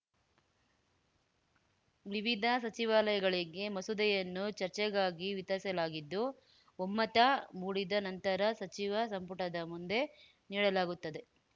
ವಿವಿಧ ಸಚಿವಾಲಯಗಳಿಗೆ ಮಸೂದೆಯನ್ನು ಚರ್ಚೆಗಾಗಿ ವಿತರಿಸಲಾಗಿದ್ದು ಒಮ್ಮತ ಮೂಡಿದ ನಂತರ ಸಚಿವ ಸಂಪುಟದ ಮುಂದೆ ನೀಡಲಾಗುತ್ತದೆ